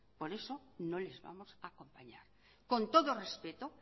por eso no les vamos a acompañar con todo respeto